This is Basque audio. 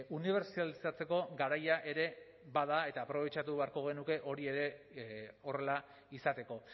unibertsalizatzeko garaia ere bada eta aprobetxatu beharko genuke hori ere horrela izateko